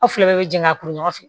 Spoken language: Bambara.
Aw fila bɛɛ bɛ jɛ ka kuru ɲɔgɔn fɛ